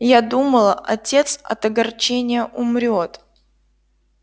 я думала отец от огорчения умрёт